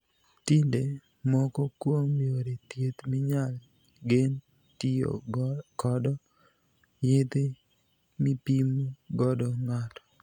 Tinde, moko kuom yore thieth minyal gen tiyo kod yedhe mipim godo ng'ato..